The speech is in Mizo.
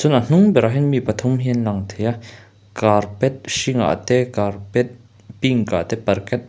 a hnung berah hian mi pathum hi an lang thei a carpet hringah te carpet pink ah te--